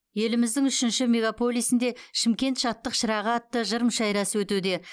еліміздің үшінші мегаполисінде шымкент шаттық шырағы атты жыр мүшәйрасы өтуде